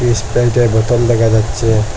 স্প্রাইটের বোতল দেখা যাচ্ছে।